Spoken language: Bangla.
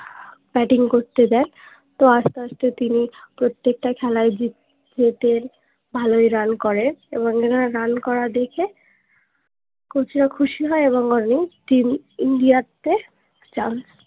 batting করতে দেয় তো আস্তে আস্তে তিনি প্রত্যেকটা খেলাই gift পেতেন ভালোই run করে এবং ওনার run করা দেখে coach ও খুশি হয় এবং বলেন তিনি India তে chance